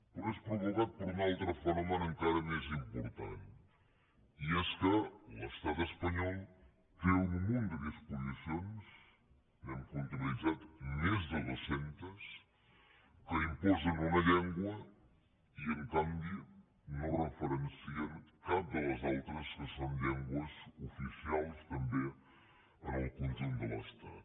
però és provocat per un altre fenomen encara més important i és que l’estat espanyol té un munt de disposicions n’hem comptabilitzat més de dues centes que imposen una llengua i en canvi no en referencien cap de les altres que són llengües oficials també en el conjunt de l’estat